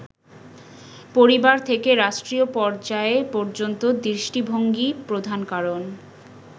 পরিবার থেকে রাষ্ট্রীয় পর্যায় পর্যন্ত দৃষ্টিভঙ্গিই প্রধান কারণ।